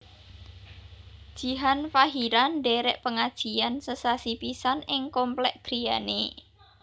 Jihan Fahira ndherek pengajian sesasi pisan ing komplek griyane